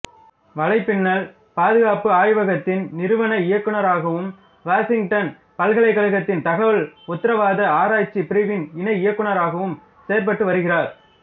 வலைப்பின்னல் பாதுகாப்பு ஆய்வகத்தின் நிறுவன இயக்குநராகவும் வாசிங்டன் பல்கலைக்கழகத்தின் தகவல் உத்தரவாத ஆராய்ச்சிப் பிரிவின் இணை இயக்குநராகவும் செயற்பட்டு வருகிறார்